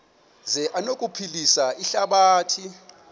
zi anokuphilisa ihlabathi